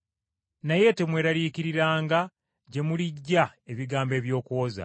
Naye temweraliikiriranga gye muliggya ebigambo eby’okuwoza,